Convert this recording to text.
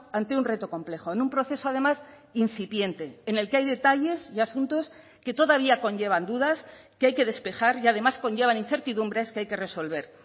ante un reto complejo en un proceso además incipiente en el que hay detalles y asuntos que todavía conllevan dudas que hay que despejar y además conllevan incertidumbres que hay que resolver